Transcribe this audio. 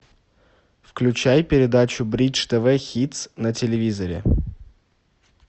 включай передачу бридж тв хитс на телевизоре